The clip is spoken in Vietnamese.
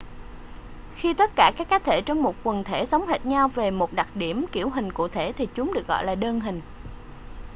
khi tất cả các cá thể trong một quần thể giống hệt nhau về một đặc điểm kiểu hình cụ thể thì chúng được gọi là đơn hình